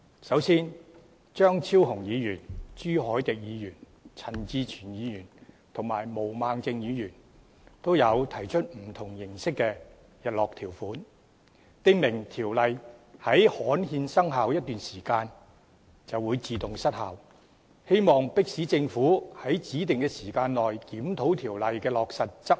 首先，張超雄議員、朱凱廸議員、陳志全議員及毛孟靜議員也提出不同形式的日落條款，訂明條例在刊憲生效一段時間後便會自動失效，希望迫使政府在指定時間內檢討條例的落實和執行。